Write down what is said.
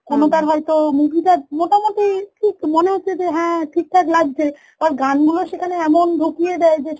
কোনটার হয়েত movie টা মোটামুটি ঠিক মনে হচ্ছে যে হ্যাঁ ঠিক ঠাক লাগছে আর গানগুলো সেখানে এমন ঢুকিয়ে দেয় যে